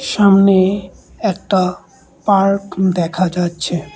সামনে একটা পার্ক দেখা যাচ্ছে।